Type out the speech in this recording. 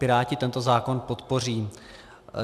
Piráti tento zákon podpoří.